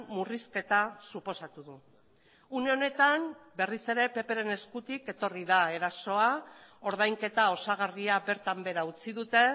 murrizketa suposatu du une honetan berriz ere ppren eskutik etorri da erasoa ordainketa osagarria bertan behera utzi dute